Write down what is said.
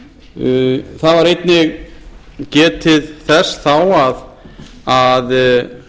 það var einnig getið þess þá að